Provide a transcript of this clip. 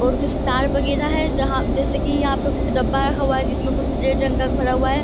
और जिस तार पे गिरा है जहाँ जैसे की यहाँ पे कुछ डब्बा रखा हुआ है जिसमें की कुछ रेड रंग का भरा हुआ है।